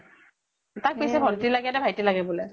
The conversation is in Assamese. তাক পিছে ভণ্টি ভাইতি লাগে বোলে?